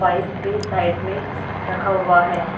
Pipe भी side में रखा हुआ है।